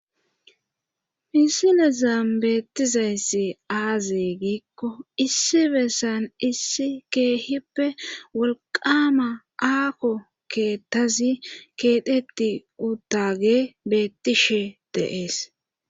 Misile zaam beettizayssi aaze giikko issi beessan issi keehippe walqama aako keettazi keedhetti uttage beettishe deees